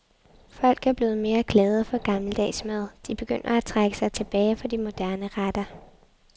Folk er blevet mere glade for gammeldags mad, de begynder at trække sig tilbage fra de moderne retter.